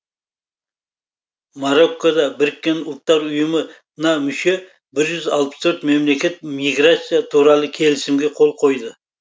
мароккода біріккен ұлттар ұйымы на мүше бір жүз алпыс төрт мемлекет миграция туралы келісімге қол қойды